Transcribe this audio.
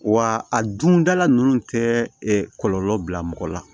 Wa a dundala ninnu tɛ kɔlɔlɔ bila mɔgɔ la